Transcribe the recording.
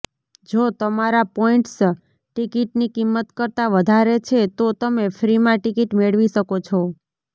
જો તમારા પોઈન્ટસ ટિકિટની કિંમત કરતા વધારે છે તો તમે ફ્રીમાં ટિકિટ મેળવી શકો છો